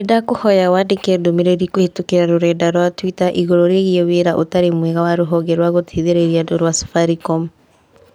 Nĩndakuhoya wandĩke ndũmĩrĩri kũhĩtũkĩra rũrenda rũa tũita igũrũ rĩgiĩ wĩra ũtarĩ mwega wa rũhonge rwa gũteithĩrĩria andũ rũa Safaricom